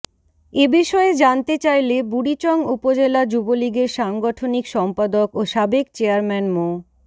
এ বিষয়ে জানতে চাইলে বুড়িচং উপজেলা যুবলীগের সাংগঠনিক সম্পাদক ও সাবেক চেয়ারম্যান মো